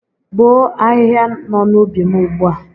Bọọ ahịhịa nọ n'ubi m ugbu a!